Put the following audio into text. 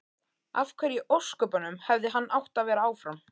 Af hverju í ósköpunum hefði hann átt að vera áfram?